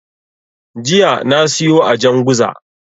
Jiya na siyo a Janguza.